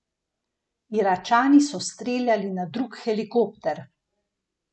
Iračani so streljali na drug helikopter.